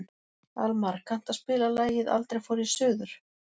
Almar, kanntu að spila lagið „Aldrei fór ég suður“?